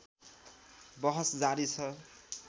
बहस जारी छ